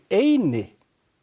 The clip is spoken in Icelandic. eina